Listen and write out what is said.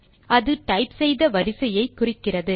அது டைப் செய்த வரிசையை குறிக்கிறது